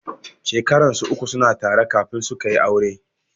Shekaran su uku suna tare kafin sukayi aure.